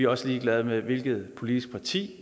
også ligeglade med hvilket politisk parti